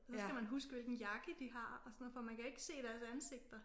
Så skal man huske hvilken jakke de har og sådan noget for man kan ikke se deres ansigter